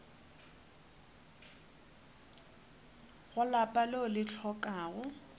go lapa leo le hlokago